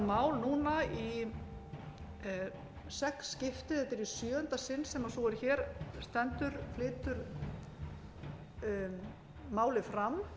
mál núna í sex skipti þetta er í sjöunda sinn sem sú er hér stendur flytur málið fram